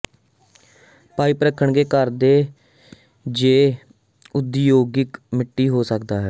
pipe ਰੱਖਣਗੇ ਘਰ ਦੇ ਜ ਉਦਯੋਗਿਕ ਮਿੱਟੀ ਹੋ ਸਕਦਾ ਹੈ